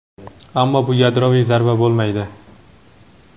ammo bu yadroviy zarba bo‘lmaydi.